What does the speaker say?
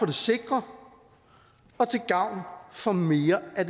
det sikre og til gavn for mere af